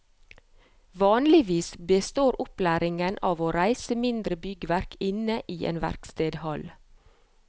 Vanligvis består opplæringen av å reise mindre byggverk inne i en verkstedhall.